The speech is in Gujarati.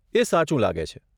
એ સાચું લાગે છે.